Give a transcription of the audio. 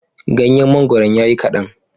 Ganyen mangoron ya yi kaɗan.